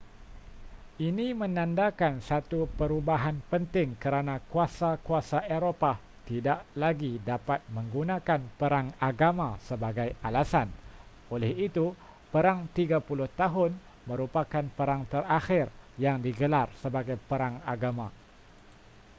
ini menandakan satu perubahan penting kerana kuasa-kuasa eropah tidak lagi dapat menggunakan perang agama sebagai alasan oleh itu perang tiga puluh tahun merupakan perang terakhir yang digelar sebagai perang agama